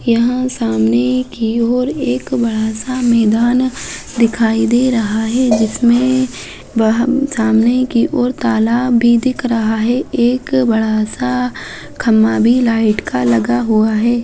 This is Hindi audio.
यहाँ सामने की ओर एक बड़ा-सा मैदान दिखाई दे रहा है जिसमे ब सामने की ओर ताला भी दिख रहा है एक बड़ा-सा खम्भा भी लाइट का लगा हुआ है।